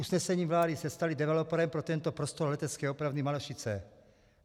Usnesením vlády se staly developerem pro tento prostor Letecké opravny Malešice.